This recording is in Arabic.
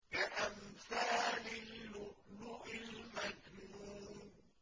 كَأَمْثَالِ اللُّؤْلُؤِ الْمَكْنُونِ